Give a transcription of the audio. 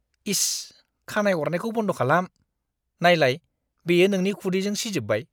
इस! खानाइ अरनायखौ बन्द खालाम। नायलाय, बेयो नोंनि खुदैजों सिजोबबाय!